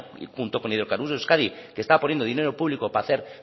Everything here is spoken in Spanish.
y junto con hidrocarburos euskadi que estaba poniendo dinero público para hacer